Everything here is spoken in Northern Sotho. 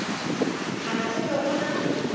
kgale go be go na